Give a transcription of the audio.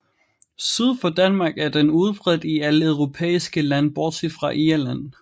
Syd for Danmark er den udbredt i alle europæiske lande bortset fra Irland